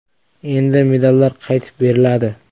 Endi medallar qaytib beriladi.